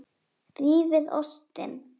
Rífið ostinn.